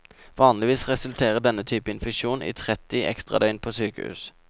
Vanligvis resulterer denne type infeksjon i tretti ekstradøgn på sykehus.